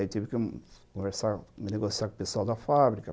Aí tive que conversar, negociar com o pessoal da fábrica